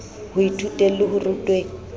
ho ithuteng le ho rutweng